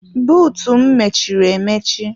Bụụtụ m mechiri emechi.